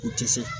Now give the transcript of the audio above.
O tɛ se